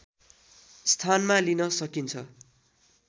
स्थानमा लिन सकिन्छ